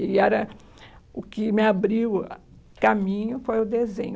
E era o que me abriu caminho foi o desenho.